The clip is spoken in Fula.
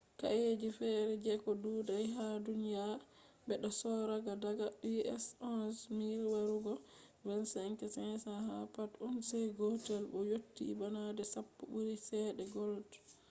kaeji fere jeko dudai ha duniya, bedo sorra daga us$11,000 warugo $22,500 ha pat ounce gotel bo yotti bana de sappo buri chede gold